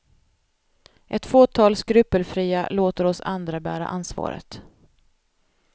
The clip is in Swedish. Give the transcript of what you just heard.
Ett fåtal skrupelfria låter oss andra bära ansvaret.